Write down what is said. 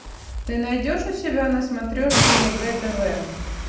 ты найдешь у себя на смотрешке егэ тв